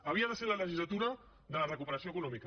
havia de ser la legislatura de la recuperació econòmica